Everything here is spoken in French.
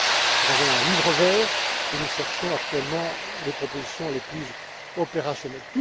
Nous avons un Livre vert et nous cherchons actuellement les propositions les plus opérationnelles.